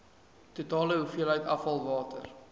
totale hoeveelheid afvalwater